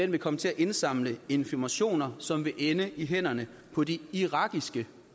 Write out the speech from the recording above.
vil komme til at indsamle informationer som vil ende i hænderne på de irakiske